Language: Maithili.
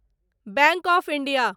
bank of India